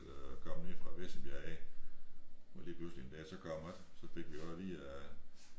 Der kom nede fra Vissenbjerg af og lige pludselig en dag så kom han ikke så fik vi også at vide at